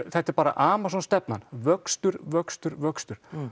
þetta er bara Amazon stefnan vöxtur vöxtur vöxtur